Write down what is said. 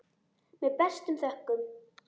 Með bestu þökkum.